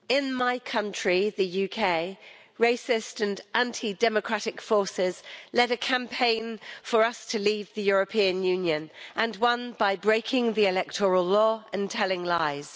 Mr President, in my country, the UK, racist and anti democratic forces led a campaign for us to leave the European Union and won by breaking the electoral law and telling lies.